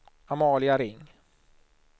Amalia Ring